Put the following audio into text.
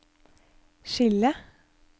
skille